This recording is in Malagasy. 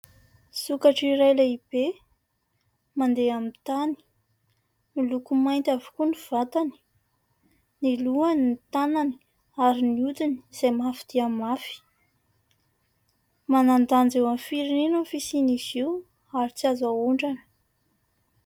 Sokatra iray lehibe, mandeha amin'ny tany. Miloko mainty avokoa ny vatany, ny lohany, ny tanany, ary ny hodiny izay mafy dia mafy. Manan-danja eo amin'ny firenena ny fisian'izy io, ary tsy mahazo ahondrana.